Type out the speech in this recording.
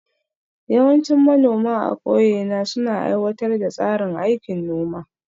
Yawancin manoma a ƙauye na suna aiwatar da tsarin aikin noma